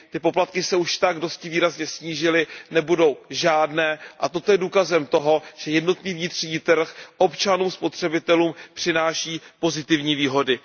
Ty poplatky se už dosti výrazně snížily, nebudou žádné, a toto je důkazem toho, že jednotný vnitřní trh občanům, spotřebitelům přináší pozitivní výhody.